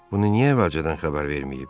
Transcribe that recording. Bunu niyə əvvəlcədən xəbər verməyib?